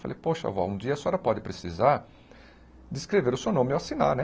Falei, poxa avó, um dia a senhora pode precisar de escrever o seu nome ou assinar, né?